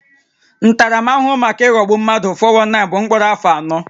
Ntaramahụhụ maka ịghọgbu mmadụ (419) bụ mkpọrọ afọ anọ